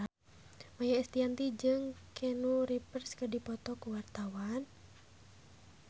Maia Estianty jeung Keanu Reeves keur dipoto ku wartawan